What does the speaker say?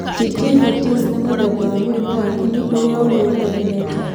Gingivitis nĩ mũthemba wa mũrimũ wa kĩni ũrĩa ũrĩa ũtheremeete.